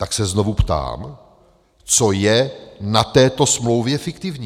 Tak se znovu ptám, co je na této smlouvě fiktivní?